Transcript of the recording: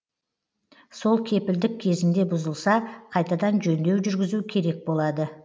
сол кепілдік кезінде бұзылса қайтадан жөндеу жүргізу керек болады